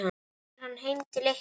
Kemur hann heim til ykkar?